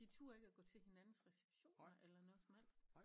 De turde ikke at gå til hinanden receptioner eller noget som helst